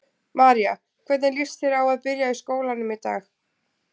María: Hvernig líst þér á að byrja í skólanum í dag?